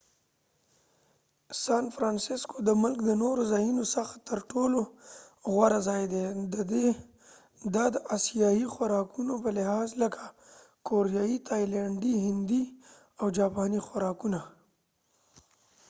سان فرنسسکو د ملک دنورو ځایونو څخه تر ټولو غوره ځای دي د د اسیایې خوراکونو په لحاظ لکه کوریایې، تایلنډی، هندي او جاپانی خوراکونه